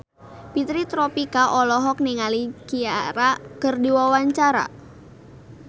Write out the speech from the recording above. Fitri Tropika olohok ningali Ciara keur diwawancara